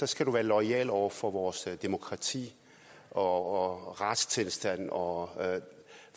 skal du være loyal over for vores demokrati og retstilstand og